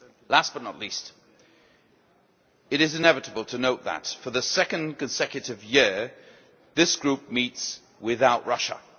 Last but not least, it is inevitable to note that, for the second consecutive year, this group meets without Russia.